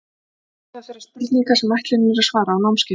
Þetta eru meðal þeirra spurninga sem ætlunin er að svara á námskeiðinu.